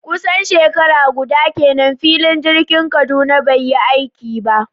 Kusan shekara guda kenan filin jirgin Kaduna bai yi aiki ba